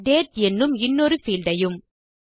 date என்னும் இன்னொரு field ஐயும்